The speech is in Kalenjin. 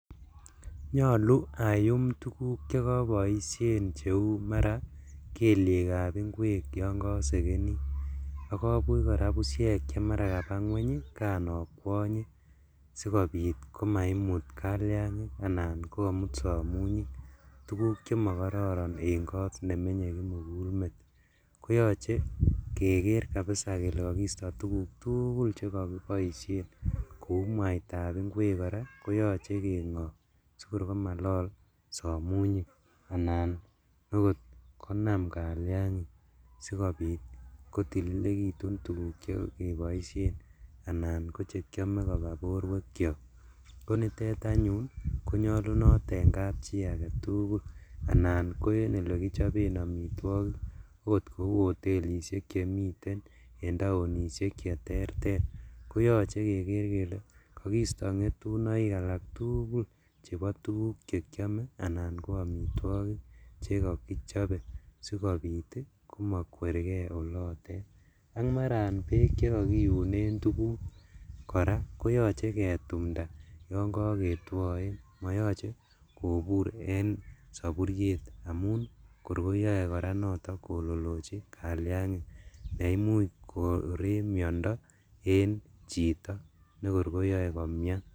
nyolu ayyum tuuguk chegoboishen kouu maraa kelieek ab ingweek yon kosegenii ak obuuch kora busyeek chemara kabaa ngweny iih kon okwonye, sigobiit komaimuut kaliangink anan komuut somunyiik, tuguuk chemogororon en koot nemenye kimuguul meet, koyoche kegeer kabisa kele kogiisto tuguuk tugul chegogiboishen kouu mwaita ab ingweek koraa koyoche kengoob sigoi komalol samuunyik anan konaam kaliangiing sigobiit kotilegitun tuguuk chegeboishen anan kochekyome koba borweek kyook, koniteet anyun konyolunoot en kapchii agetuugul anan ko olegichobeen omitwogiik oot kouu otelishek chemiten en taonishek cheterter, koyoche kegeer kelee kogiisto ngetunoiik alak tuguul cheboo tuguuk chekyome anan ko omitwogiik chegogichobe sigobiit komokwergee oloteet, ak maaraan beek chegogiuneen tuguuk koraa koyoche ketumnda yoon kogetwoeen, moyoche kobuur en soburyeet amun kor koyoe kora noton kololochi kalyangiik yeimuuch koreek myondo en chito negooor koyoee komyaan.